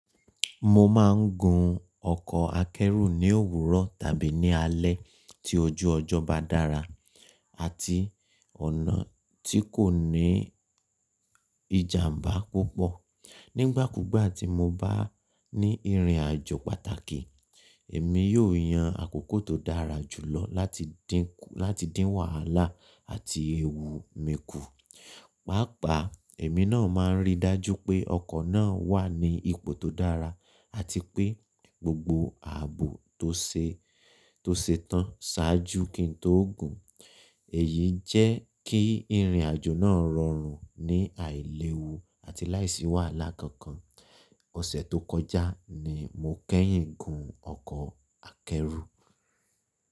Mo máa ń gun ọkọ̀ akẹ́rù ní òwúrọ̀ tàbí ní alẹ́ tí ojú ọjọ́ bá dára àti ọ̀nà tí kò ní ìjàmbá púpọ̀. Nígbà kúgbà tí mo bá ní ìrìnàjò pàtàkì, èmi yóò yan àkókò tó dára jù lọ láti dín wàhálà àti ewu mi kù. Pàápàá, èmi náà máa ń ríi dájú pé ọkọ̀ náà wà ní ipò tó dára àti pé gbogbo ààbò tó ṣe tán ṣáájú kí n tó gùn. Èyí jẹ́ kí ìrìnàjò náà rọrùn ní àìlewu àti láìsí wàhálà kankan. Ọ̀sẹ̀ tó kọjá ni mo kẹ́yìn gùn ọkọ̀ akẹ́rù.